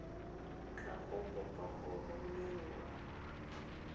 tla go kopa go romela